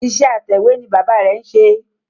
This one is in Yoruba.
Iṣẹ́ atẹ̀wé ni bàbá rẹ̀ ń ṣe